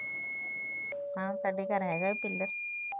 ਹਾ ਸਾਡੇ ਘਰ ਹੈਗਾ ਪਿਲਰ